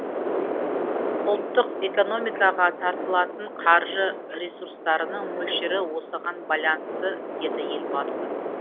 ұлттық экономикаға тартылатын қаржы ресурстарының мөлшері осыған байланысты деді елбасы